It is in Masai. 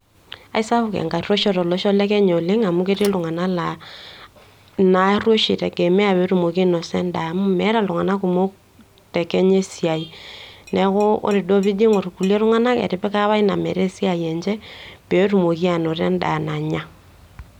Aisapuk enkarruisho tolosho le Kenya oleng' amu ketii iltung'ana laa ina arruisho eitegemea petumoki ainosa endaa, amu meeta iltung'ana kumok te Kenya esiai niaku ore duo tenijo aing'orr kulie tung'ana, etipika apa ina meeta esiai enye petumoki anoto endaa nanya.